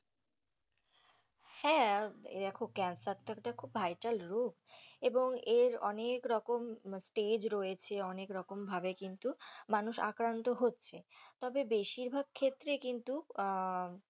হ্যাঁ, দেখো ক্যান্সারটা তো একটা vital রোগ এবং এর অনেক রকম stage রয়েছে অনেক রকম ভাবে কিন্তু মানুষ আক্রান্ত হচ্ছে তবে বেশির ভাগ ক্ষেত্রে কিন্তু। আহ